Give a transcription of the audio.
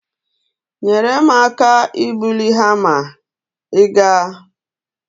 Nyere m aka ibuli hama, ị ga-?